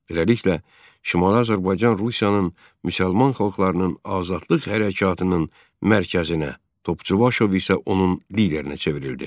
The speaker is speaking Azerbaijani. Beləliklə, Şimali Azərbaycan Rusiyanın müsəlman xalqlarının azadlıq hərəkatının mərkəzinə, Topçubaşov isə onun liderinə çevrildi.